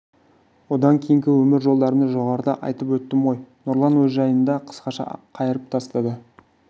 одан кейінгі өмір жолдарымды жоғарыда айтып өттім ғой нұрлан өз жайында қысқаша қайырып тастады